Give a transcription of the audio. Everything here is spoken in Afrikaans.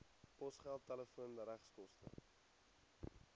posgeld telefoon regskoste